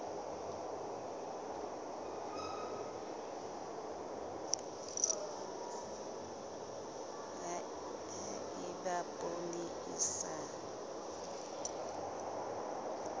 ha eba poone e sa